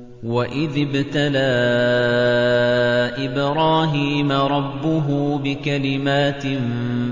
۞ وَإِذِ ابْتَلَىٰ إِبْرَاهِيمَ رَبُّهُ بِكَلِمَاتٍ